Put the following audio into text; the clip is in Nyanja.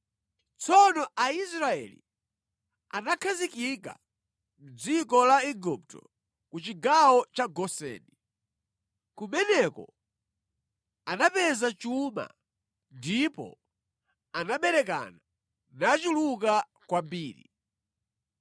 Tsono Aisraeli anakhazikika mʼdziko la Igupto ku chigawo cha Goseni. Kumeneko anapeza chuma ndipo anaberekana nachuluka kwambiri.